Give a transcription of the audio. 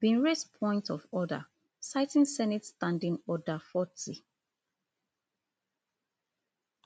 bin raise point of order citing senate standing order forty